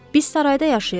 Biz sarayda yaşayırıq.